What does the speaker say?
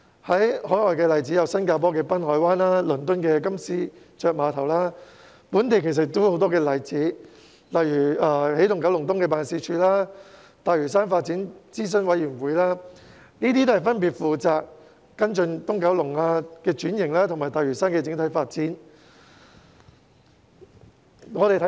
海外例子有新加坡的濱海灣及倫敦的金絲雀碼頭，本地亦有很多例子，例如起動九龍東辦事處和大嶼山發展諮詢委員會分別負責跟進東九龍的轉型和大嶼山的整體發展。